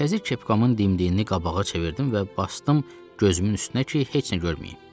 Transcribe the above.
Təzə kepkamın dimdiyini qabağa çevirdim və basdım gözümün üstünə ki, heç nə görməyim.